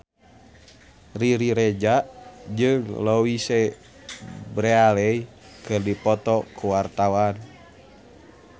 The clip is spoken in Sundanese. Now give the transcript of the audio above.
Riri Reza jeung Louise Brealey keur dipoto ku wartawan